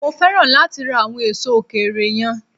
Mo féràn láti ra àwọn èso òkèèrè yẹn.